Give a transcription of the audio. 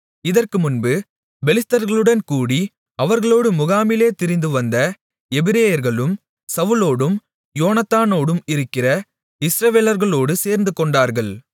இதற்குமுன்பு பெலிஸ்தர்களுடன் கூடி அவர்களோடு முகாமிலே திரிந்துவந்த எபிரெயர்களும் சவுலோடும் யோனத்தானோடும் இருக்கிற இஸ்ரவேலர்களோடு சேர்ந்துகொண்டார்கள்